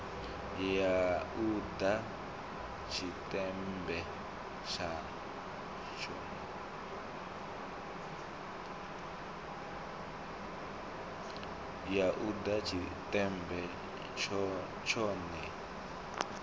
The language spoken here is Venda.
ya u ḓa tshiṱemmbe tshone